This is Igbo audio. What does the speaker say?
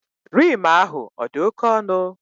Rim ahụ odi oke onụ?